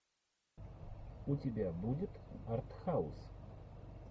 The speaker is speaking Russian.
у тебя будет артхаус